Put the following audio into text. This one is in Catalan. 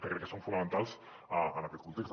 que crec que són fonamentals en aquest context